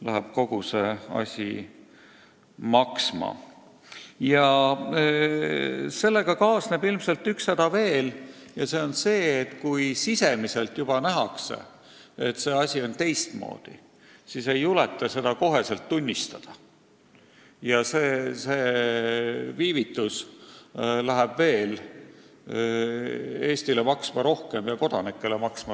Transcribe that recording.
Ja kõige sellega kaasneb üks häda veel: kui asjaosalised juba näevad, et miski ei laabu, siis ei juleta seda kohe tunnistada, ja see viivitus läheb Eesti riigile ning maksumaksjatele maksma veel rohkem.